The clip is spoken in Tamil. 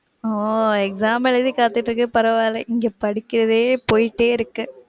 ஒ exam எழுதி காத்துட்டு இருக்கீங்க பரவாயிலை, இங்க படிக்கவே போயிட்டே இருக்கு.